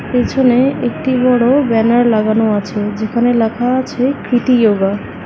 পেছনে একটি বড় ব্যানার লাগানো আছে যেখানে লেখা আছে কৃতি ইয়োগা ।